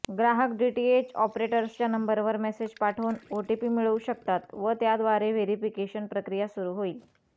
ग्राहक डीटीएच ऑपरेटर्सच्या नंबरवर मेसेज पाठवून ओटीपी मिळवू शकतात व त्याद्वारे व्हेरिफिकेशन प्रक्रिया पुर्ण होईल